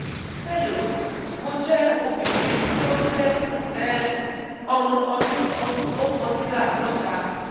hello mo jẹ obinrin ti o jẹ um ọmo ọdun ọdun okandinlaadota